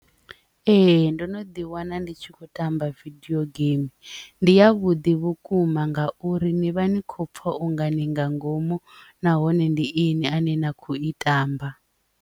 Ee, ndo no ḓi wana ndi tshi kho tamba vidio game ndi ya vhuḓi vhukuma ngauri ni vha ni khou pfa ungani nga ngomu nahone ndi ini ane na khou i tamba.